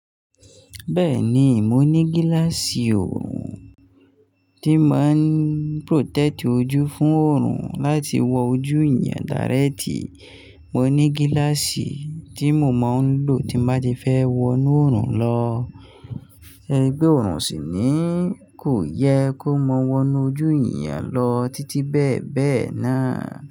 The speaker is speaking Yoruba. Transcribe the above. Bẹ́ẹ̀ni, mo ní gíláàsì oòrùn tí ma ń protect ojú fún oòrùn láti wọ ojú èèyàn direct. Mo ní gíláàsì tí mo máa ń lò tí n bá ti fẹ́ wọnú oòrùn lọ. To se pe oòrùn o sì ni? Kò yẹ kó mọ́ wọnú ojú èèyàn lọ títí bẹ́ẹ̀ bẹ́ẹ̀ náà.